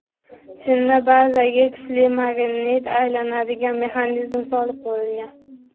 Chinni bazaga kuchli magnit va aylanadigan mexanizm solib qo‘yilgan.